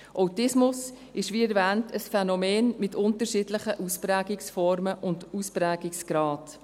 Autismus ist, wie erwähnt, ein Phänomen mit unterschiedlichen Ausprägungsformen und Ausprägungsgraden.